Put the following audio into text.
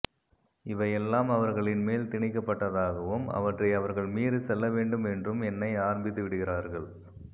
இவையெல்லாம் அவர்களின் மேல் திணிக்கப்பட்டதாகவும் அவற்றை அவர்கள் மீறிச்செல்லவேண்டும் என்றும் எண்ண ஆரம்பித்துவிடுகிறார்கள்